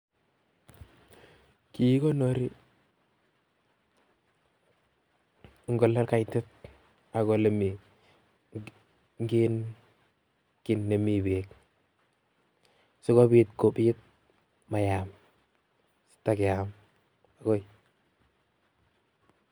Kikikonori eng' olee kaitit ak en olee mii kiit nemii beek, sikobit komayam sitakeam.